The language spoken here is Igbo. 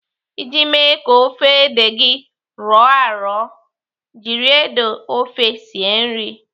Iji mee ka ofe ede gị rọọ arọ, jiri ede ofe sie nri.